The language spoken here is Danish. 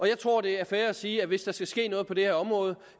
jeg tror at det er fair at sige at hvis der skal ske noget på det her område